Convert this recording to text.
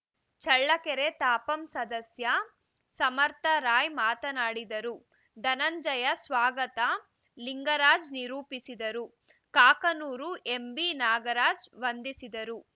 ಚಳ್ಳಕೆರೆ ತಾಪಂ ಸದಸ್ಯೆ ಸಮರ್ಥರಾಯ್‌ ಮಾತನಾಡಿದರು ಧನಂಜಯ ಸ್ವಾಗತ ಲಿಂಗರಾಜ್‌ ನಿರೂಪಿಸಿದರು ಕಾಕನೂರು ಎಂಬಿ ನಾಗರಾಜ್‌ ವಂದಿಸಿದರು